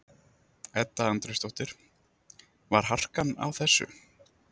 Edda Andrésdóttir: Var harkan á þessu?